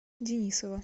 денисова